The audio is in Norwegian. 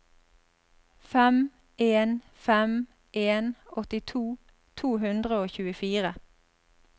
fem en fem en åttito to hundre og tjuefire